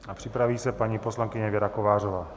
A připraví se paní poslankyně Věra Kovářová.